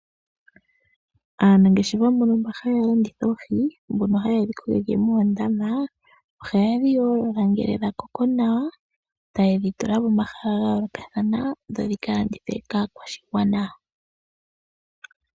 Aanangeshefa mbono mba haya landitha oohii, mbono ha yedhi kokeke moondama oha yedhi yoolola ngele dha koko nawa, ta yedhi tula pomahala ga yoolokathana dho dhi kalandithwe kaakwashigwana.